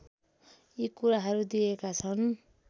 यी कुराहरू दिइएका छन्